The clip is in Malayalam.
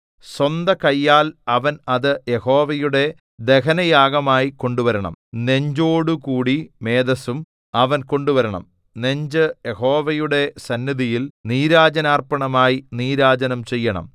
സ്വന്തകൈയാൽ അവൻ അത് യഹോവയുടെ ദഹനയാഗമായി കൊണ്ടുവരണം നെഞ്ചോടുകൂടി മേദസ്സും അവൻ കൊണ്ടുവരണം നെഞ്ച് യഹോവയുടെ സന്നിധിയിൽ നീരാജനാർപ്പണമായി നീരാജനം ചെയ്യണം